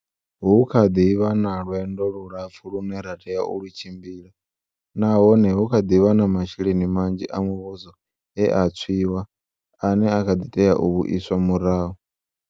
Hu kha ḓi vha na lwendo lulapfu lune ra tea u lu tshimbila nahone hu kha ḓi vha na masheleni manzhi a mu vhuso e a tshwiwa ane a kha ḓi tea u vhuiswa murahu.